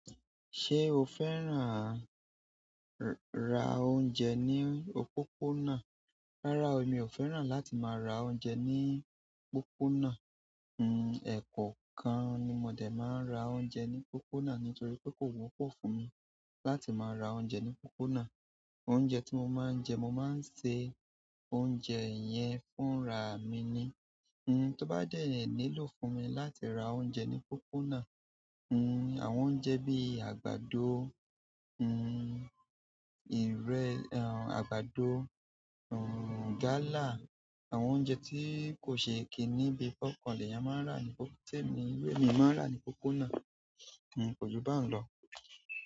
Ṣé o fẹ́ràn ra oúnjẹ ní òpópónà? Rárá o, emi ò fẹ́ràn láti máa ra oúnjẹ ní pópónà. Hmm, ẹ̀kọ́ kan ni mo dẹ̀ máa ń ra oúnjẹ ní pópónà nítorí pé kò wọ́pọ̀ fún mi láti máa ra oúnjẹ ní pópónà. Oúnjẹ tí mo máa ń jẹ, mo máa ń ṣe oúnjẹ yẹn fún ra mi ni. Hmm, tó bá dẹ́ nílò fún mi láti ra oúnjẹ ní pópónà, hmm, àwọn oúnjẹ bí àgbàdo, hmm, ìr-- ẹ̀, àgbàdo, hmm, gala, àwọn oúnjẹ tí kò ṣe é kí níbi pápá ọkọ̀ ni èèyàn máa ń rà ní pópó-- téèmí, mi máa ń rà ní pópónà. Hmm, kò ju báun lọ.